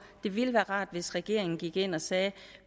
det ville være rart hvis regeringen gik ind og sagde